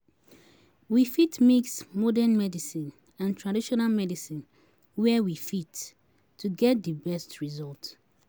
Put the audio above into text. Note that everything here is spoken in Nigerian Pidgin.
We fit mix both modern medicine and traditional medicine, where we fit, to get di best result